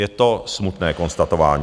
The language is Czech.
Je to smutné konstatování.